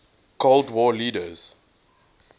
cold war leaders